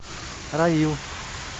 равил